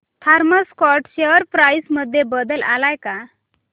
Thomas Scott share price मध्ये बदल आलाय का